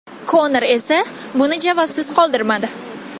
Konor esa buni javobsiz qoldirmadi .